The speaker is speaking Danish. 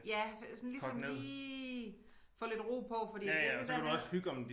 Ja for sådan ligesom lige få lidt ro på fordi det det der med